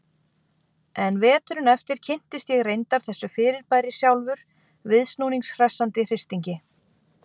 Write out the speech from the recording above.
En veturinn eftir kynntist ég reyndar þessu fyrirbæri sjálfur, viðsnúnings hressandi hristingi.